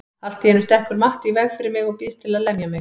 Allt í einu stekkur Matti í veg fyrir mig og býðst til að lemja mig.